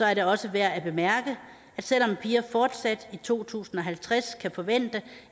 er det også værd at bemærke at selv om piger fortsat i to tusind og halvtreds kan forvente